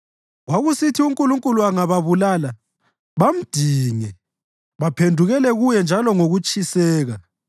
Kwakusithi uNkulunkulu angababulala, bamdinge; baphendukele kuye njalo ngokutshiseka.